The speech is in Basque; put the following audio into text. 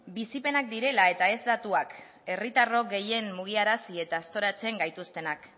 bizipenak direla eta ez datuak herritarrok gehien mugiarazi eta aztoratzen gaituztenak